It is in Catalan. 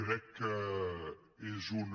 crec que és una